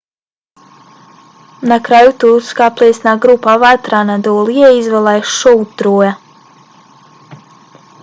na kraju turska plesna grupa vatra anadolije izvela je šou troja